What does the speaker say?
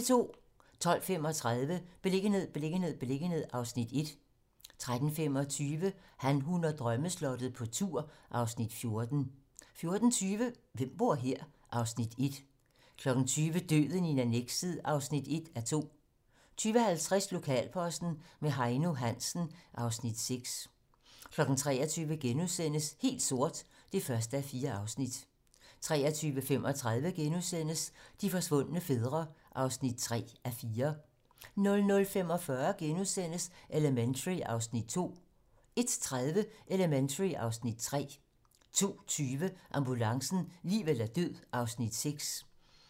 12:35: Beliggenhed, beliggenhed, beliggenhed (Afs. 1) 13:25: Han, hun og drømmeslottet - på tur (Afs. 14) 14:20: Hvem bor her? (Afs. 1) 20:00: Døden i annekset (1:2) 20:50: Lokalposten med Heino Hansen (Afs. 6) 23:00: Helt sort (1:4)* 23:35: De forsvundne fædre (3:4)* 00:45: Elementary (Afs. 2)* 01:30: Elementary (Afs. 3) 02:20: Ambulancen - liv eller død (Afs. 6)